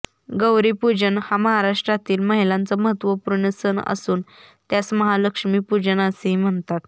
गौरीपूजन हा महाराष्ट्रातील महिलांचा महत्त्वपूर्ण सण असून त्यास महालक्ष्मीपूजन असेही म्हणतात